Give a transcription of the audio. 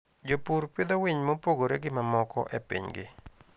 Jopur pidho winy mopogore gi mamoko e pinygi.